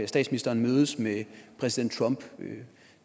statsminister mødes med præsident trump